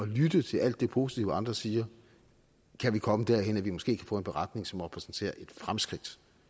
lytte til alt det positive andre siger kan vi komme derhen at vi måske kan få en beretning som repræsenterer et fremskridt